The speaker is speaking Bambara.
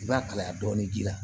I b'a kalaya dɔɔnin ji la